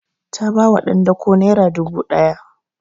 Ta ba wa ɗan dako naira dubu ɗaya